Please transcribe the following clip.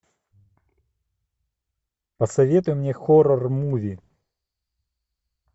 посоветуй мне хоррор муви